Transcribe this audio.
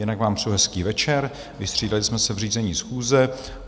Jinak vám přeji hezký večer, vystřídali jsme se v řízení schůze.